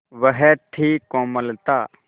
वह थी कोमलता